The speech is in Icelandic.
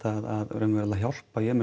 raunverulega að hjálpa